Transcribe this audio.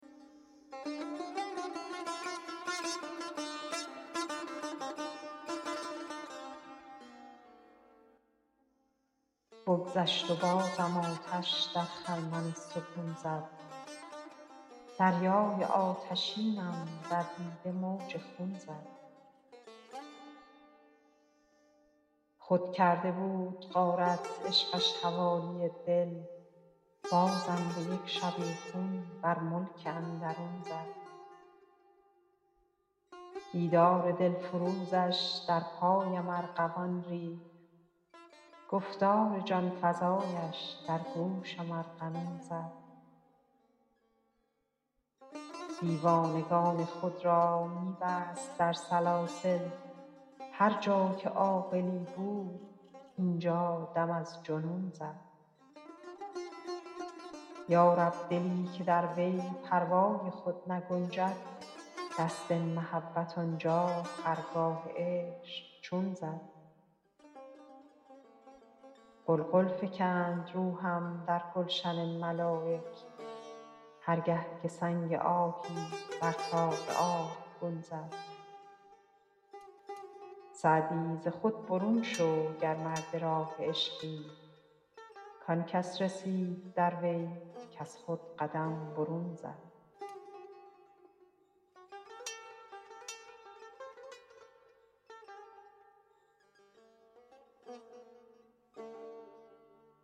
بگذشت و بازم آتش در خرمن سکون زد دریای آتشینم در دیده موج خون زد خود کرده بود غارت عشقش حوالی دل بازم به یک شبیخون بر ملک اندرون زد دیدار دلفروزش در پایم ارغوان ریخت گفتار جان فزایش در گوشم ارغنون زد دیوانگان خود را می بست در سلاسل هر جا که عاقلی بود اینجا دم از جنون زد یا رب دلی که در وی پروای خود نگنجد دست محبت آنجا خرگاه عشق چون زد غلغل فکند روحم در گلشن ملایک هر گه که سنگ آهی بر طاق آبگون زد سعدی ز خود برون شو گر مرد راه عشقی کان کس رسید در وی کز خود قدم برون زد